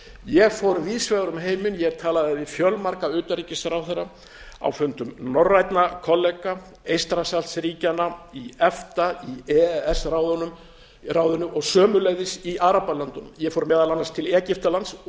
ég fór víðs vegar um heiminn ég talaði við fjölmarga utanríkisráðherra á fundum norrænna kollega eystrasaltsríkjanna í efta í e e s ráðinu og sömuleiðis í arabalöndunum ég fór meðal annars til egyptalands og niðurstaðan var öll